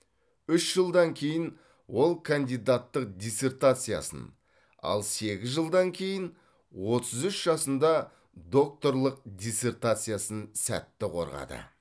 үш жылдан кейін ол кандидаттық диссертациясын ал сегіз жылдан кейін отыз үш жасында докторлық диссертациясын сәтті қорғады